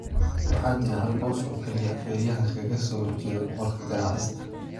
Waxaa jira hal boos oo kaliya - feeryahanka ka soo horjeeda boqorka garaacista.